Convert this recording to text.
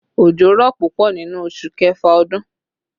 Òjò rọ̀ púpọ̀ nínú oṣù kẹfà ọdún